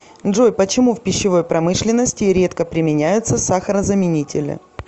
джой почему в пищевой промышленности редко применяются сахарозаменители